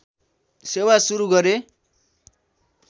सेवा सुरु गरे